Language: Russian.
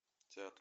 театр